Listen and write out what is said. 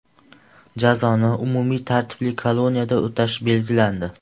Jazoni umumiy tartibli koloniyada o‘tash belgilandi.